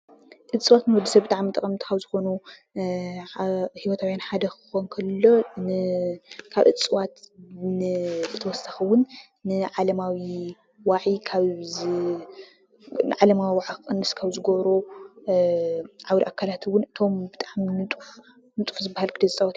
እፀዋት ንወዲ ሰብ ብጣዕሚ ጠቐምቲ ካብ ዝኾኑ ሂወታውን ሓደ ክኾን ከሎ ካብ እፀዋት ብተወሳኺ ውን ንዓለማዊ ዋዒ ክቕንስ ካብ ዝገብሩ ዓውደ ኣካላት እውን እቶም ብጣዕሚ ንጡፍ ዝባሃል ግደ ዝፃወቱ እዩ፡፡